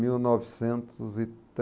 Mil novecentos e